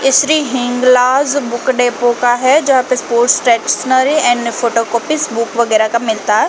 इसरे Hinglaj book depot का है जहाँ पे sport stationery and photo copy book वगैरह का मिलता हैं ।